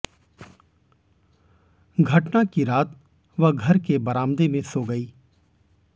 घटना की रात वह घर के बरामदे में सो गयी